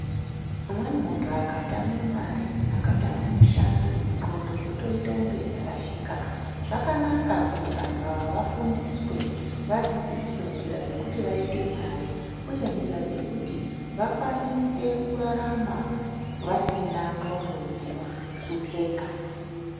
Umweni muntu akatama mare akatama mushando, ndxondo dzotoito kunge dzarashika. Zvakanaka kuti vantu ava vafundiswe, vadzidziswe nzira dzekuti vaite mare uye nzira dzekuti vakwanise kurarama vasina ndxondo dzinohlopeka.